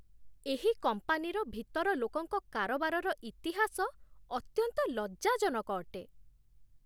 ଏହି କମ୍ପାନୀର ଭିତର ଲୋକଙ୍କ କାରବାରର ଇତିହାସ ଅତ୍ୟନ୍ତ ଲଜ୍ଜାଜନକ ଅଟେ।